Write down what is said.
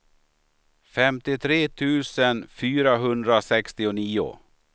femtiotre tusen fyrahundrasextionio